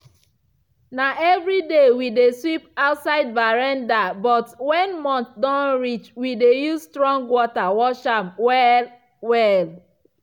na evriday we dey sweep outside veranda but when month don reach we dey use strong water wash am well-well.